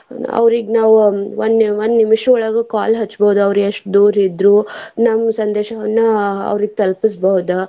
ಅವ್ರಿಗ್ ನಾವ್ ಒನ್ ಒಂದ್ ನಿಮಿಷಯೊಳಗ call ಹಚ್ಚಬಹುದ್ ಅವ್ರ ಎಷ್ಟ್ ದೂರ್ ಇದ್ರು ನಮ್ ಸಂದೇಶವನ್ನ ಅವ್ರಿಗ ತಲುಪುಸಬಹುದ.